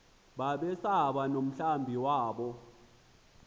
babesaba nomhlambi wabo